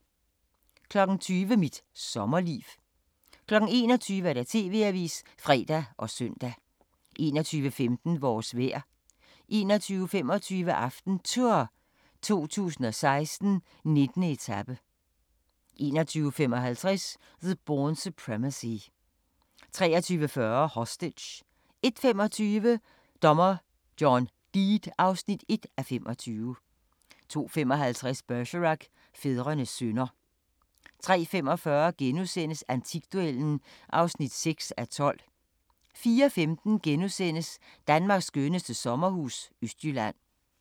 20:00: Mit sommerliv 21:00: TV-avisen (fre og søn) 21:15: Vores vejr 21:25: AftenTour 2016: 19. etape 21:55: The Bourne Supremacy 23:40: Hostage 01:25: Dommer John Deed (1:25) 02:55: Bergerac: Fædrenes synder 03:45: Antikduellen (6:12)* 04:15: Danmarks skønneste sommerhus – Østjylland *